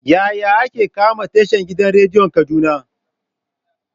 Yaya ake kama tashan gidan rediyon kaduna?